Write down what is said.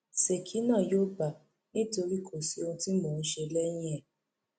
ṣèkí náà yóò gbà nítorí kò sí ohun tí mò ń ṣe lẹyìn ẹ